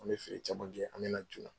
An bɛ feere caman kɛ an bɛ na joona.